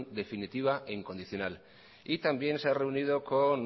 definitiva e incondicional también se ha reunido con